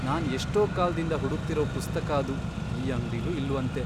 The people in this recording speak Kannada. ನಾನ್ ಎಷ್ಟೋ ಕಾಲ್ದಿಂದ ಹುಡುಕ್ತಿರೋ ಪುಸ್ತಕ ಅದು ಈ ಅಂಗ್ಡಿಲೂ ಇಲ್ವಂತೆ.